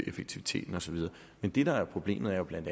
effektivisere og så videre men det der er problemet er jo bla